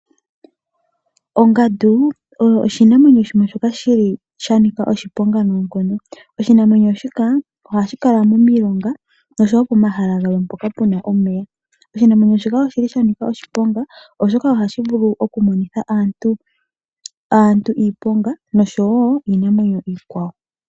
Ongandu oyo oshinamwenyo shimwe shoka shili shanika oshiponga noonkondo. Oshinamwenyo shika oha shi kala momilonga noshowo pomahala gamwe mpoka puna omeya. Oshinamwenyo shika oshili sha nika oshiponga oshoka ohashi vulu oku monitha aantu iiponga noshowo iinamwenyo iikwawo.